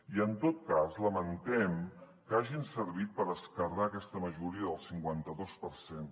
i en tot cas lamentem que hagin servit per esquerdar aquesta majoria del cinquanta dos per cent